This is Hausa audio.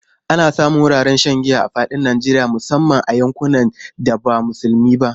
Ana samun wuraren shan giya a fadin Najeriya musamman a yankunan da ba musulmi ba.